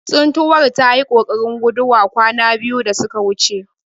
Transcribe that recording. Tsuntuwar tayi kokarin guduwa kwana biyu da suka wuce.